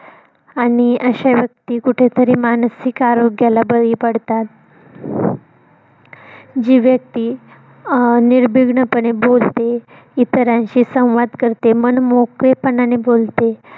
आणि अशे व्यक्ती कुठेतरी मानसिक आरोग्याला बळी पडतात. जी व्यक्ती अं निर्बीघन पणे बोलते इतरांशी संवाद करते मन मोकळेपणाने बोलते.